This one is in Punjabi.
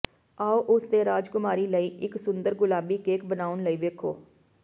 ਆਓ ਉਸ ਦੇ ਰਾਜਕੁਮਾਰੀ ਲਈ ਇੱਕ ਸੁੰਦਰ ਗੁਲਾਬੀ ਕੇਕ ਬਣਾਉਣ ਲਈ ਵੇਖੋ